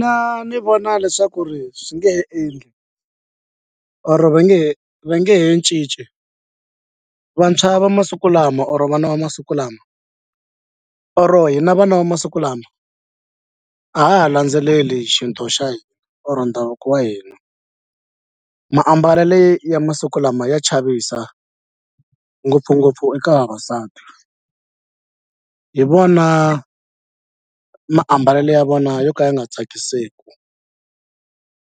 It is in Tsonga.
Na ni vona leswaku ri swi nge he endli or va nge va nge he cinci vantshwa va masiku lama or vana va masiku lama or hi na vana va masiku lama a ha ha landzeleli xintu xa hina or ndhavuko wa hina maambalelo ya masiku lama ya chavisa ngopfungopfu eka vavasati hi vona maambalelo ya vona yo ka ya nga tsakiseki